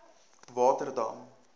waterdam